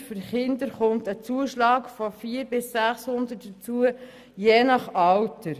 Bei Kindern kommt je nach Alter ein Zuschlag von 400 bis 600 Franken hinzu.